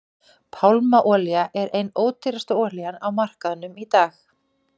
pálmaolía er ein ódýrasta olían á markaðinum í dag